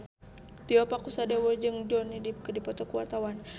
Tio Pakusadewo jeung Johnny Depp keur dipoto ku wartawan